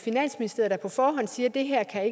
er